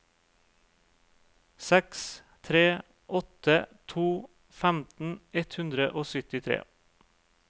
seks tre åtte to femten ett hundre og syttitre